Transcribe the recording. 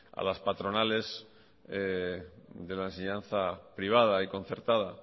a las patronales de la enseñanza privada y concertada